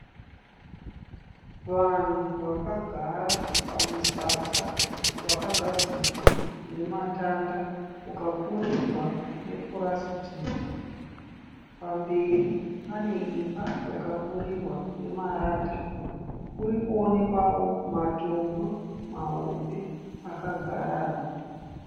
Vanhu vakagara pamusasa wakagadzirwa nematanda ukapfurirwa nepurasitiki. Pamberi pane imba yakapfurirwa nemarata. Kuri kuonekwawo matombo mahombe akagarana.